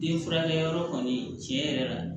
Den furakɛyɔrɔ kɔni tiɲɛ yɛrɛ la